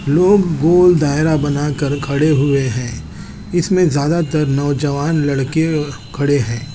वो वो गोल दायरा बना कर खड़े हुए है इसमें ज्यादा तर नौजवान लड़के खड़े है।